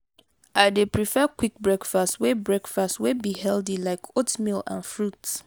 i dey prefer quick breakfast wey breakfast wey be healthy like oatmeal and fruits.